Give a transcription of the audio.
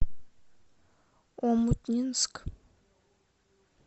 омутнинск